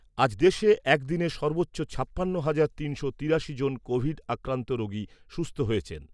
আজ দেশে একদিনে সর্বোচ্চ ছাপ্পান্ন হাজার তিনশো তিরাশি জন কোভিড আক্রান্ত রোগী সুস্থ হয়েছেন।